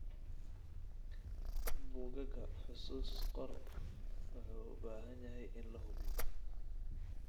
Buugaaga xusuus qor wuxuu u baahan yahay in la hubiyo.